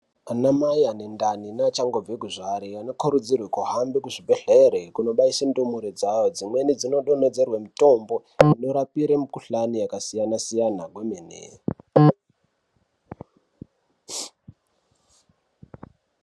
Ana mai ane ndani neachangobva kuzvara anokurudzirwa kuhambe kuzvibhedhlera kundobaisa ndumure dzawo dzimweni dzinodonhedzerwa mitombo inorapire mikuhlani yakasiyana-siyana kwemene.